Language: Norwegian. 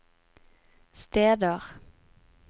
steder